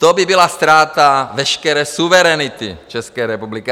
To by byla ztráta veškeré suverenity České republiky.